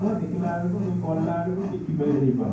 ହବ ଦେଖିଲା ବେଳକୁ କଲା ବେଳକୁ କିଛି ବେ ହେଇପାରୁନି